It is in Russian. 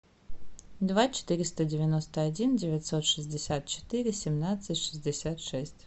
два четыреста девяносто один девятьсот шестьдесят четыре семнадцать шестьдесят шесть